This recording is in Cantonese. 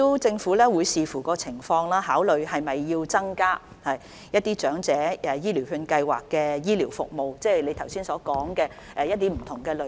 政府會視乎情況，考慮是否有需要增加長者醫療券計劃下的醫療服務，即李議員剛才提及的不同類別。